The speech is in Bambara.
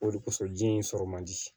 O de kosɔn ji in sɔrɔ man di